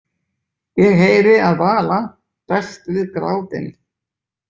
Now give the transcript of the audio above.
Ég heyri að Vala berst við grátinn.